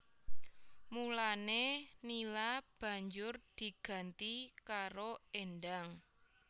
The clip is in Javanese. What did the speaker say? Mulané Nila banjur diganti karo Endang